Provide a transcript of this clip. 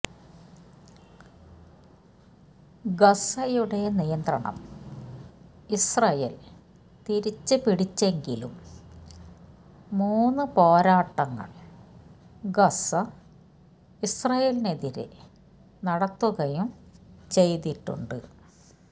ഗസ്സയുടെ നിയന്ത്രണം ഇസ്രയേൽ തിരിച്ച് പിടിച്ചെങ്കിലും മൂന്ന് പോരാട്ടങ്ങൾ ഗസ്സ ഇസ്രയേലിനെതിരെ നടത്തുകയും ചെയ്തിട്ടുണ്ട്